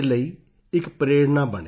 ਉਂਗਲੱਕੇ ਯੇਨਦ ਪੁਤਹਮ ਪਿਡਿਕਕੁਮ